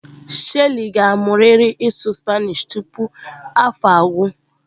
Shelly ga-amụrịrị ịsụ Spanish tupu afọ agwụ.